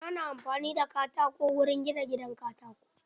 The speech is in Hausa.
Ana amfani da katako wurin gina gidan katako.